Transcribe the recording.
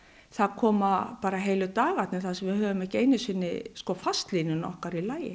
það koma heilu dagarnir þar sem við höfum ekki einu sinni fastlínuna okkar í lagi